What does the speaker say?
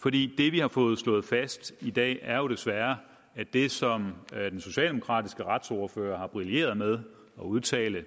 vi har fået slået fast i dag er jo desværre at det som den socialdemokratiske retsordfører har brilleret med at udtale